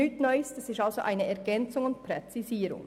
Das ist also nichts Neues.